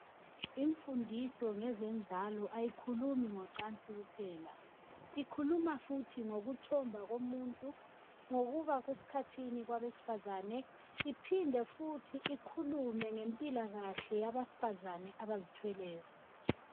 Imfundiso ngezenzalo ayikhulumi ngezocansi kuphela. Ikhuluma futhi ngokuthomba komuntu, ngokungena esikhathini kwabesifazane iphinde futhi ikhulume ngempilakahle yabesifazana abazithweleyo.